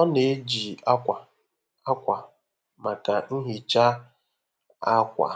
Ọ na-eji akwa akwa maka nhicha akwa